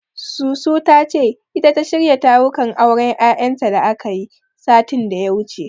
Susu ta ce, ita ta shirya tarukan auren Yayanta da akayi, satin da ya wuce.